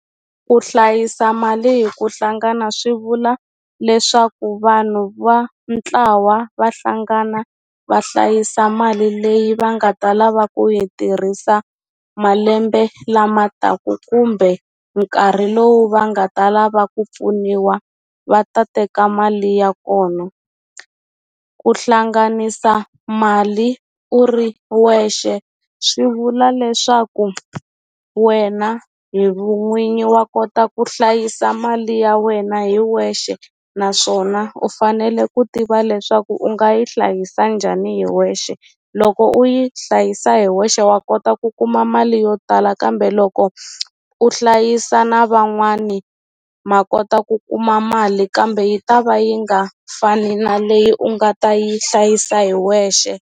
Ku hlayisa mali hi ku hlangana swi vula leswaku vanhu va ntlawa va hlangana va hlayisa mali leyi va nga ta lava ku yi tirhisa malembe lama taka kumbe nkarhi lowu va nga ta lava ku pfuniwa va ta teka mali ya kona ku hlanganisa mali u ri wexe swi vula leswaku wena hi vun'winyi wa kota ku hlayisa mali ya wena hi wexe naswona u fanele ku tiva leswaku u nga yi hlayisa njhani hi wexe loko u yi hlayisa hi wexe wa kota ku kuma mali yo tala kambe loko u hlayisa na van'wani ma kota ku kuma mali kambe yi ta va yi nga fani na leyi u nga ta yi hlayisa hi wexe.